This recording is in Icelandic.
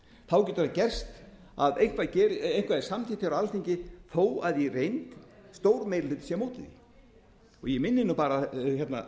þá getur það gerst að eitthvað verði samþykkt á alþingi þó að stór meiri hluti sé á móti því í reynd ég minni